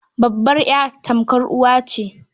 Babbar ya tamkar uwa ce.